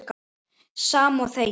Sama og þegið.